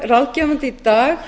ráðgefandi í dag